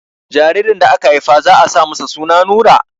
Jaririn da aka Haifa za a sa masa suna Nura